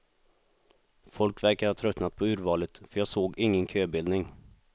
Folk verkar ha tröttnat på urvalet, för jag såg ingen köbildning.